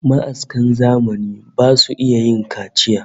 Ma'askan zamani basu iya yin kaciya